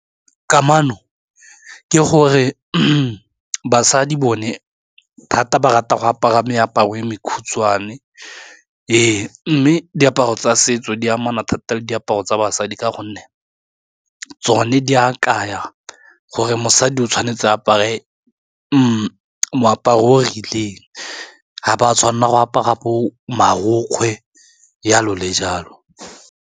Kamano ke gore basadi bone thata ba rata go apara meaparo e mekhutshwane, ee mme diaparo tsa setso di amana thata le diaparo tsa basadi ka gonne tsone di a kaya gore mosadi o tshwanetse apare moaparo o rileng ga ba tshwanela go apara bo marokgwe jalo le jalo.